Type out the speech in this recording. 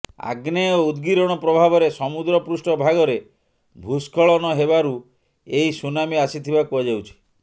ଆଗ୍ନେୟ ଉଦ୍ଗୀରଣ ପ୍ରଭାବରେ ସମୁଦ୍ର ପୃଷ୍ଠ ଭାଗରେ ଭୂସ୍ଖଳନ ହେବାରୁ ଏହି ସୁନାମି ଆସିଥିବା କୁହାଯାଉଛି